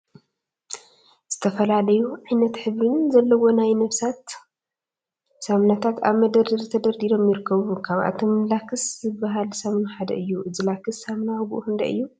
ዝተፈላለዩ ዓይነትን ሕብሪን ዘለዎም ናይ ነብሲ ሳሙናታት አብ መደርደሪ ተደርዲሮም ይርከቡ፡፡ ካብአቶም ላክስ ዝበሃል ሳሙና ሓደ እዩ፡፡ እዚ ላክስ ሳሙና ዋግኡ ክንደይ እዩ?